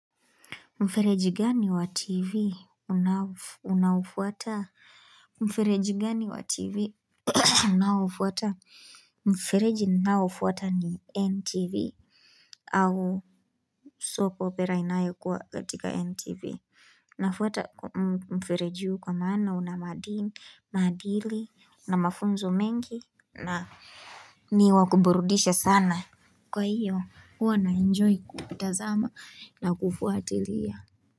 Mfereji gani wa TV? Unaufuata? Mfereji gani wa TV? Unaoufuata? Mfereji ninaoufuata ni NTV au sopo pera inayo kwa katika NTV. Unafuata mfereji huu kwa maana una maadili na mafunzo mengi na ni wa kuburudisha sana. Kwa hiyo, huwa naenjoy kuvitazama na kufuatilia.